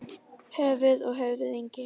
Höfuð og höfðingi.